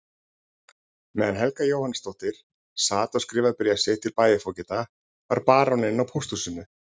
Meðan Helga Jóhannsdóttir sat og skrifaði bréf sitt til bæjarfógeta var baróninn á pósthúsinu.